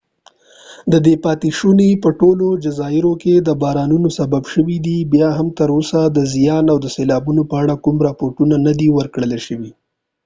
ددې پاتی شونی په ټولو جزایرو کې د بارانونو سبب شوي دي بیا هم تر اوسه د زیان او سیلابونو په اړه کوم راپور نه دي ور کړل شوي